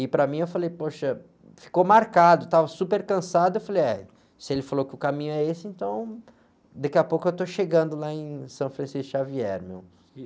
E, para mim, eu falei, poxa, ficou marcado, estava super cansado, eu falei, é, se ele falou que o caminho é esse, então, daqui a pouco eu estou chegando lá em São Francisco de Xavier, meu.